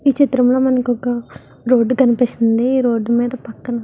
ఈ చిత్రంలో మనకి ఒక రోడ్డు కనిపిస్తుంది. ఈ రోడ్డు మీద పక్కన --